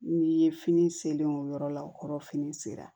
N'i ye fini selen o yɔrɔ la o kɔrɔ fini sera